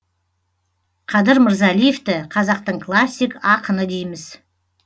қадыр мырзалиевті қазақтың классик ақыны дейміз